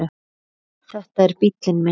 Þetta er bíllinn minn